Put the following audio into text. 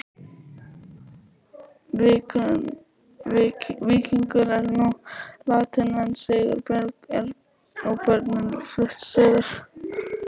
Víkingur er nú látinn en Sigurborg og börnin flutt suður.